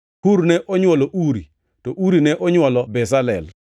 Hur ne onywolo Uri, to Uri ne onywolo Bezalel.